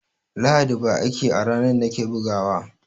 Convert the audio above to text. Lahadi ba aiki a ranan nake bugawa